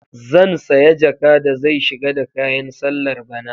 Zan saya jaka da zai shiga da kayan sallar bana.